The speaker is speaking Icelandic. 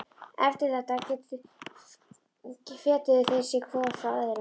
Eftir þetta fetuðu þeir sig hvor frá öðrum.